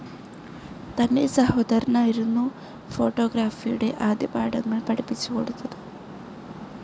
തന്റെ സഹോദരനായിരുന്നു ഫോട്ടോഗ്രഫിയുടെ ആദ്യപാഠങ്ങൾ പഠിപ്പിച്ചുകൊടുത്തത്.